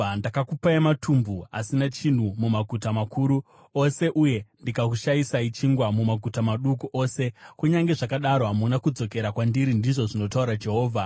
“Ndakakupai matumbu asina chinhu mumaguta makuru ose uye ndikakushayisai chingwa mumaguta maduku ose, kunyange zvakadaro hamuna kudzokera kwandiri,” ndizvo zvinotaura Jehovha.